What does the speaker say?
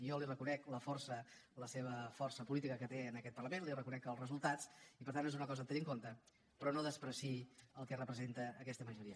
jo li reconec la força la seva força política que té en aquest parlament li reconec els resultats i per tant és una cosa a tenir en compte però no menyspreï el que representa aquesta majoria